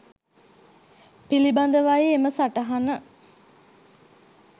පිළිබඳවයි එම සටහන.